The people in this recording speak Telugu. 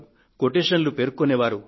కొటేషన్ లను ప్రస్తావించే వారు